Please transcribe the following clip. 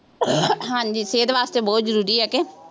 ਹਾਂਜੀ ਸਿਹਤ ਵਾਸਤੇ ਬਹੁਤ ਜ਼ਰੂਰੀ ਹੈ ਕਿ